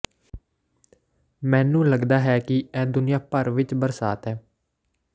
ਮੈਨੂੰ ਲਗਦਾ ਹੈ ਕਿ ਇਹ ਦੁਨੀਆ ਭਰ ਵਿੱਚ ਬਰਸਾਤ ਹੈ